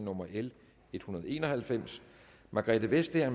nummer l en hundrede og en og halvfems margrethe vestager